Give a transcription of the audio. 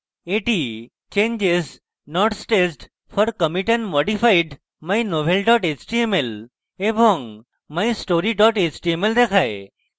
এটি changes not staged for commit এবং modified: mynovel html এবং mystory html দেখায়